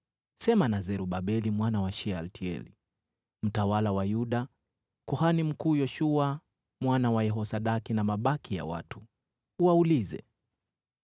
“Sema na Zerubabeli mwana wa Shealtieli, mtawala wa Yuda, kuhani mkuu Yoshua mwana wa Yehosadaki, na mabaki ya watu. Uwaulize,